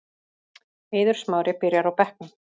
Eiður Smári byrjar á bekknum